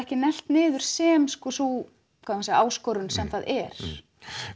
ekki neglt niður sem sú áskorun sem það er